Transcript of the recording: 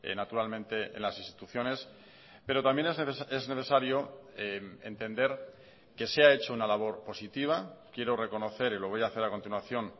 naturalmente en las instituciones pero también es necesario entender que se ha hecho una labor positiva quiero reconocer y lo voy a hacer a continuación